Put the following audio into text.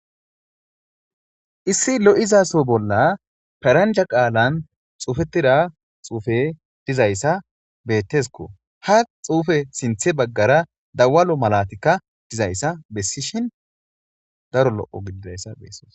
Issi lo7iza soho bolla paranja qaalan xuufettida xuufe dizayssa betesikko ha xuufe sinthe baggara dawalo malatikka dizayssa bessi shin daro lo7o gididayssa beesoos.